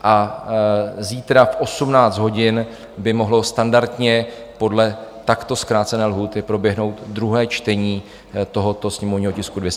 A zítra v 18 hodin by mohlo standardně podle takto zkrácené lhůty proběhnout druhé čtení tohoto sněmovního tisku 235. Děkuji.